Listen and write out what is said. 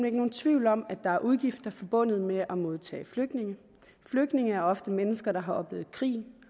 ikke nogen tvivl om at der er udgifter forbundet med at modtage flygtninge flygtninge er ofte mennesker der har oplevet krig